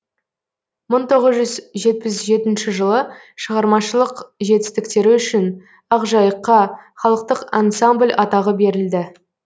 мың тоғыз жүз жетпіс жетінші жылы шығармашылық жетістіктері үшін ақ жайыққа халықтық ансамбль атағы берілді